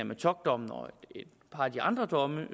metockdommen og et par af de andre domme